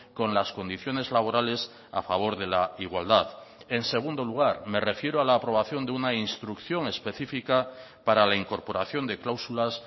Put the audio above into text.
con las condiciones laborales a favor de la igualdad en segundo lugar me refiero a la aprobación de una instrucción específica para la incorporación de cláusulas